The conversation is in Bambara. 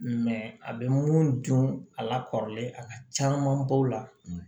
a bɛ mun dun a la kɔrɔlen a ka caamanba bɔ o la